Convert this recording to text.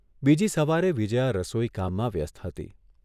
બીજી સવારે વિજ્યા રસોઇકામમાં વ્યસ્ત હતી.